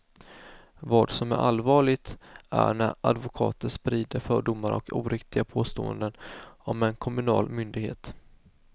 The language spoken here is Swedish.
Vad som är allvarligt är när advokater sprider fördomar och oriktiga påståenden om en kommunal myndighet.